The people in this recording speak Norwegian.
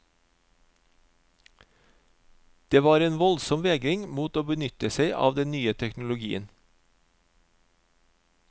Det var en voldsom vegring mot å benytte seg av den nye teknologien.